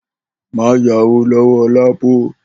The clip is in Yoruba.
Má yáwó ló̩wó̩ LAPO!